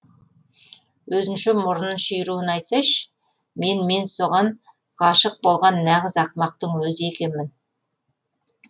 өзінше мұрынын шүйіруін айтсайшы мен мен соған ғашық болған нағыз ақымақтың өзі екенмін